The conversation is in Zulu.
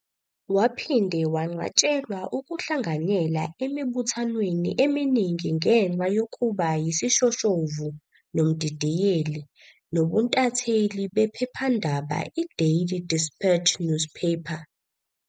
Waphinde wanqatshelwa ukuhlanganyela emibuthwaneni eminingi ngenxa yokuba yisishoshovu, nomdidiyeli, nobuntatheli bephephandaba i Daily Dispatch Newspaper.